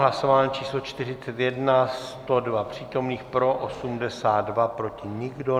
Hlasování číslo 41, 102 přítomných, pro 82, proti nikdo.